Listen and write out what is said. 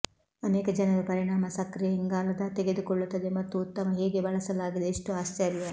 ಅನೇಕ ಜನರು ಪರಿಣಾಮ ಸಕ್ರಿಯ ಇಂಗಾಲದ ತೆಗೆದುಕೊಳ್ಳುತ್ತದೆ ಮತ್ತು ಉತ್ತಮ ಹೇಗೆ ಬಳಸಲಾಗಿದೆ ಎಷ್ಟು ಆಶ್ಚರ್ಯ